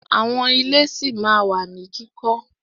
Àwọn ilé ṣí ma wà ní kíkọ́.